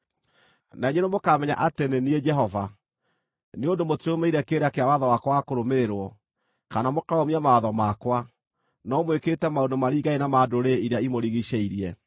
Na inyuĩ nĩmũkamenya atĩ nĩ niĩ Jehova, nĩ ũndũ mũtirũmĩrĩire kĩrĩra kĩa watho wakwa wa kũrũmĩrĩrwo, kana mũkarũmia mawatho makwa, no mwĩkĩte maũndũ maringaine na ma ndũrĩrĩ iria imũrigiicĩirie.”